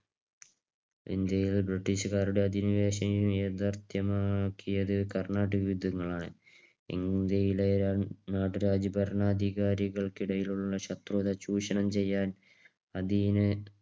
ഇന്ത്യയിൽ ബ്രിട്ടീഷുകാരുടെ അധിനിവേശം യാഥാർത്ഥ്യമാക്കിയത് കർണാട്ടിക് യുദ്ധങ്ങൾ ആണ്. ഇന്ത്യയിലെ നാട്ടുരാജ്യ ഭരണാധികാരികൾകിടയിലുള്ള ശത്രുത ചൂഷണം ചെയ്യാൻ അതീന